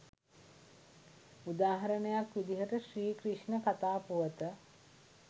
උදාහරණයක් විදිහට ශ්‍රී ක්‍රිෂ්ණ කථා පුවත